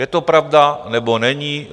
Je to pravda, nebo není?